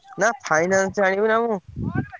ନା finance ଆଣିବି ନା ମୁଁ।